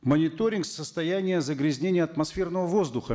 мониторинг состояния загрязнения атмосферного воздуха